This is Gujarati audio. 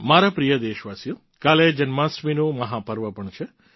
મારા પ્રિય દેશવાસીઓ કાલે જન્માષ્ટમીનું મહાપર્વ પણ છે